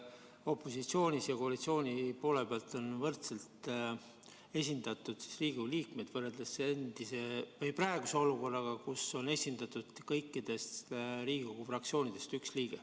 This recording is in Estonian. Opositsiooni ja koalitsiooni poole pealt on võrdselt esindatud Riigikogu liikmed võrreldes praeguse olukorraga, kus on esindatud kõikidest Riigikogu fraktsioonidest üks liige.